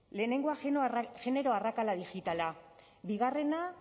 lehenengoa genero arrakala digitala bigarrena